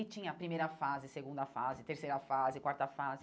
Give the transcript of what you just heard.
E tinha a primeira fase, segunda fase, terceira fase, quarta fase.